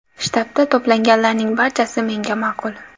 Shtabda to‘planganlarning barchasi menga ma’qul.